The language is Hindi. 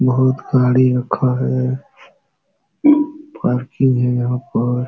बहोत गाड़ी रखा है। पार्किंग है यहाँ पर।